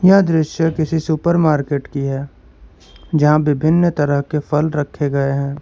यह दृश्य किसी सुपर मार्केट की है जहां विभिन्न तरह के फल रखे गए हैं।